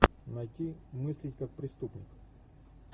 найти мыслить как преступник